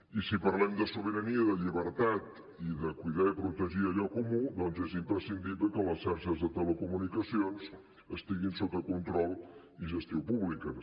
i si parlem de sobirania de llibertat i de cuidar i protegir allò comú doncs és imprescindible que les xarxes de telecomunicacions estiguin sota control i gestió públiques